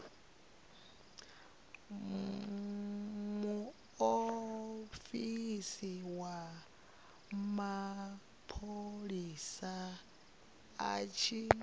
muofisi wa mapholisa a tshi